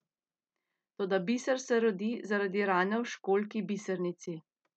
Toda biser se rodi zaradi rane v školjki bisernici!